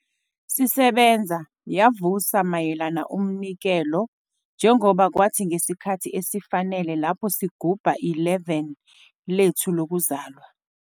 "Sisebenza yavusa mayelana umnikelo njengoba Kwathi ngesikhathi esifanele lapho sigubha 11 lethu lokuzalwa."